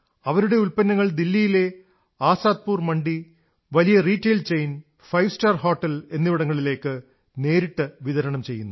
അവരുടെ ഉത്പന്നങ്ങൾ ദില്ലിയിലെ ആസാദ്പുർ മണ്ഡി വലിയ retail chain five star hotel എന്നിവിടങ്ങളിലേക്ക് നേരിട്ട് വിതരണം ചെയ്യുന്നു